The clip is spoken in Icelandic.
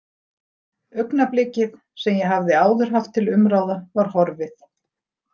Augnablikið sem ég hafði áður haft til umráða var horfið.